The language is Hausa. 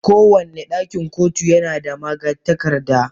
Kowane ɗakin kotu yana da magatakarda.